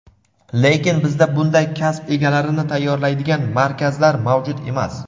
Lekin bizda bunday kasb egalarini tayyorlaydigan markazlar mavjud emas.